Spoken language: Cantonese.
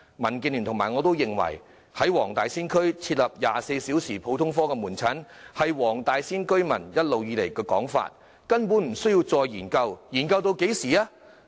民建聯與我均認為，在黃大仙區設立24小時普通科門診服務是黃大仙區居民一直以來的訴求，根本無需再研究，試問還要研究至何時呢？